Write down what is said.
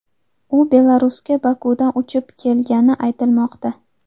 U Belarusga Bokudan uchib kelgani aytilmoqda.